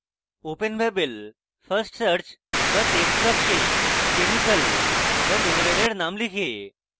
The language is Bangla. openbabel fastsearch বা text box chemical বা mineral name লিখে